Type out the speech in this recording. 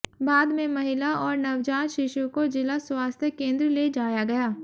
बाद में महिला और नवजात शिशु को जिला स्वास्थ्य केंद्र ले जाया गया